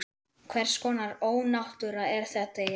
Hvers konar ónáttúra er þetta eiginlega?